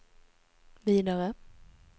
vidare